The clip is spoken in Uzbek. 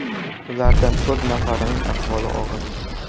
Ulardan to‘rt nafarining ahvoli og‘ir.